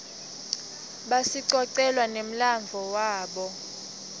basicocela nemladvo wabo